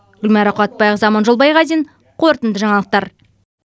гүлмайра қуатбайқызы аманжол байғазин қорытынды жаңалықтар